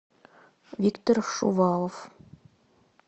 виктор шувалов